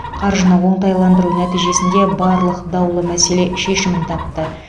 қаржыны оңтайландыру нәтижесінде барлық даулы мәселе шешімін тапты